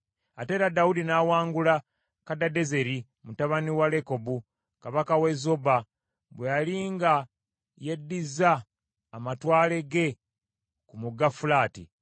Ate era Dawudi n’awangula Kadadezeri mutabani wa Lekobu, kabaka w’e Zoba, bwe yali nga yeddiza amatwale ge ku Mugga Fulaati.